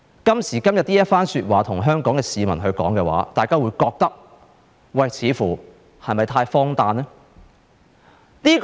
今時今日，向香港市民說這番話，大家似乎會覺得太荒誕。